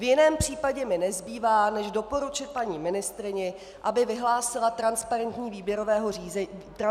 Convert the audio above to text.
V jiném případě mi nezbývá, než doporučit paní ministryni, aby vyhlásila transparentní výběrové řízení na psychiatra.